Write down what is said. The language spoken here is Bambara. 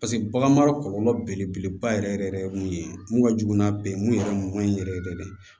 paseke bagan mara kɔlɔlɔ belebeleba yɛrɛ yɛrɛ yɛrɛ ye mun ye mun ka jugu n'a bɛɛ ye mun yɛrɛ man ɲi yɛrɛ yɛrɛ de